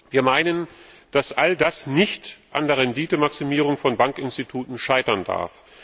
Wir meinen, dass all das nicht an der Renditemaximierung von Bankinstituten scheitern darf.